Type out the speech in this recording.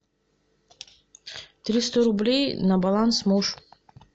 триста рублей на баланс муж